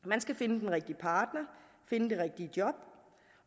man skal finde den rigtige partner finde det rigtige job